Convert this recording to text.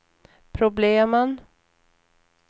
problemen